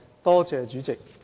多謝主席。